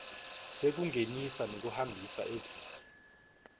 sekungenisa nekuhambisa eveni